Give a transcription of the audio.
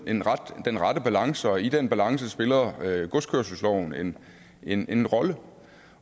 den rette balance og i den balance spiller godskørselsloven en en rolle